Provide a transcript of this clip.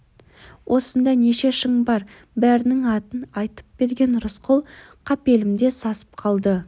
осында неше шың бар бәрінің атын айтып берген рысқұл қапелімде сасып қалды